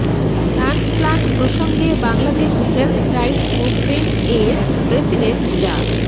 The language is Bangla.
ট্রান্সপ্লান্ট প্রসঙ্গে বাংলাদেশ হেলথ রাইটস মুভমেন্টস এর প্রেসিডেন্ট ডা